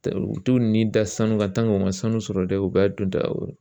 U t'u ni da sanu kan u ma sanu sɔrɔ dɛ u bɛɛ dondaw